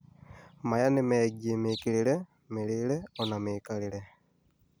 maya nĩ megiĩ mĩĩkĩrire, mĩrĩĩre ona mĩikarĩre